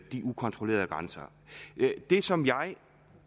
de ukontrollerede grænser det som jeg